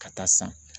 Ka taa san